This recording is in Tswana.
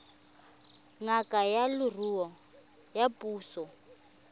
ngaka ya leruo ya puso